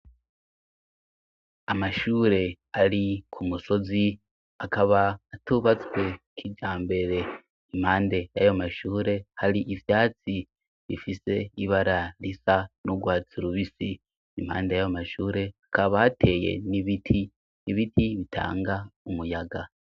Amashure ari ku musozi, akaba atubatswe kijambere. Impande y'ayo mashure hari ivyatsi bifise ibara risa n'urwatsi rubisi. Impande y'ayo mashure, hakaba hateye n'ibiti, ibiti bitanga umuyaga.